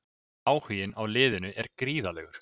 Áhuginn á liðinu er gríðarlegur.